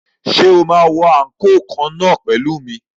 Ṣé o máa wọ àǹkóò kan náà pẹ̀lú mi?